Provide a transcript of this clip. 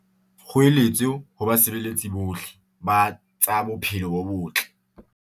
Kgoeletso ho basebeletsi bohle ba tsa bophelo bo botle